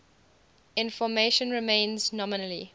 information remains nominally